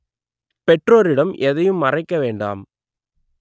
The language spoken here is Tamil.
பெற்றோரிடம் எதையும் மறைக்க வேண்டாம்